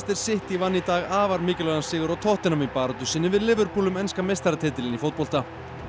City vann í dag afar mikilvægan sigur á tottenham í baráttu sinni við Liverpool um enska meistaratitilinn í fótbolta